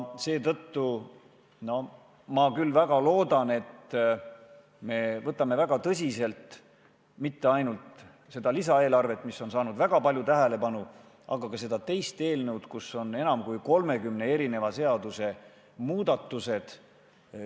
Seetõttu loodan ma väga, et me ei suhtuks tõsiselt mitte ainult sellesse lisaeelarvesse, mis on saanud väga palju tähelepanu, vaid ka sellesse teise eelnõusse, kus on ühte paketti koondatud enam kui 30 seaduse muudatused.